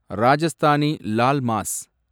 Rajasthani laal mass